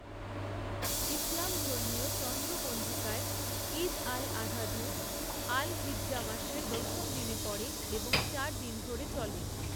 ইসলামধর্মীয় চন্দ্র পঞ্জিকায়, ঈদ আল আধা ধু, আল হিজ্জাহ মাসের দশম দিনে পড়ে এবং চার দিন ধরে চলে।